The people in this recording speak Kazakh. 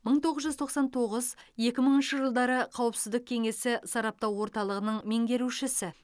мың тоғыз жүз тоқсан тоғыз екі мыңыншы жылдары қауіпсіздік кеңесі сараптау орталығының меңгерушісі